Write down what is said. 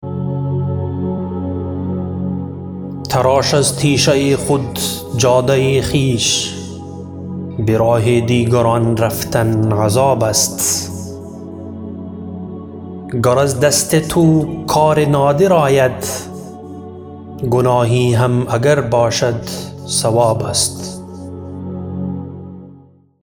تراش از تیشه خود جاده خویش براه دیگران رفتن عذاب است گر از دست تو کار نادر آید گناهی هم اگر باشد ثواب است